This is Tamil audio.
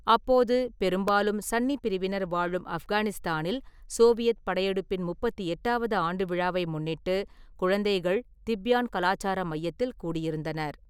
அப்போது, பெரும்பாலும் சன்னி பிரிவினர் வாழும் ஆஃப்கானிஸ்தானில் சோவியத் படையெடுப்பின் முப்பத்தி எட்டாவது ஆண்டு விழாவை முன்னிட்டு குழந்தைகள் திப்யான் கலாச்சார மையத்தில் கூடியிருந்தனர்.